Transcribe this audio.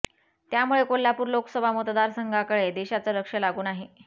त्यामुळे कोल्हापूर लोकसभा मतदार संघाकडे देशाचं लक्ष लागून आहे